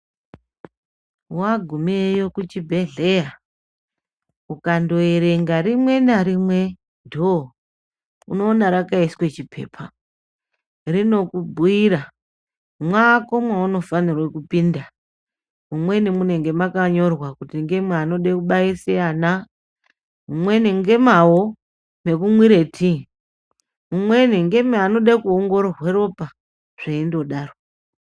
Wagumeyo kuchibhedhleya, ukandoerenga rimwe ngarimwe dhoo unoona rakaiswe chiphepa. Rinokubhuyira kuti mwako mweunofane kupinda, mumweni munenge makanyorwa kuti ngemwe anode kubaise ana, mumweni ngemwawo mekumwire tii. Mumweni ngemwe anode kuongororwa ropa zveindodaro.